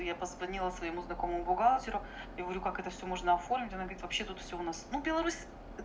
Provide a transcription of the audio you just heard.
я позвонила своему знакомому бухгалтеру и говорю как это всё можно оформить она говорит вообще тут всё у нас ну беларусь